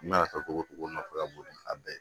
I mana kɛ togo togo nɔfɛ ka bon ni a bɛɛ ye